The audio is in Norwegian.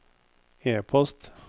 e-post